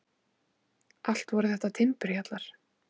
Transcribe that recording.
Allt voru þetta timburhjallar.